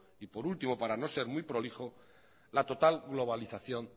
y por último para no ser muy prolijo la total globalización